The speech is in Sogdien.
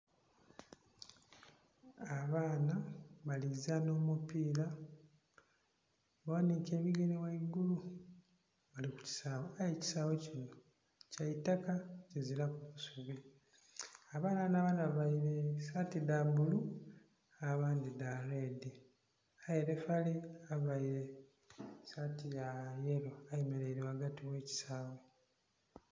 Abaana bali kuzaana omupiira baghaniike ebigere ghaigulu. Bali ku kisaawe aye ekisaawe kino, kya itaka, kiziraku busubi. Abaana bano abandhi bavaile saati dha bbulu, abandhi dha redi. Aye lifali availe saati ya yelo ayemeleire ghagati gh'ekisaawe.